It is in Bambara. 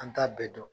An t'a bɛɛ dɔn